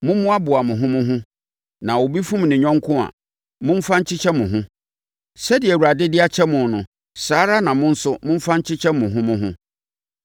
Mommoaboa mo ho mo ho, na obi fom ne yɔnko a, momfa nkyekyɛ mo ho. Sɛdeɛ Awurade de akyɛ mo no, saa ara na mo nso momfa nkyekyɛ mo ho mo ho.